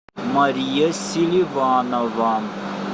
мария селиванова